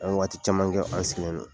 An bɛ waati caman kɛ an sigilen don.